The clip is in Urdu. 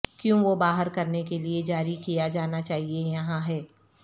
کیوں وہ باہر کرنے کے لئے جاری کیا جانا چاہئے یہاں ہے